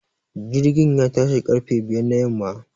Jirgin ya tashi ƙarfe biyar na yamma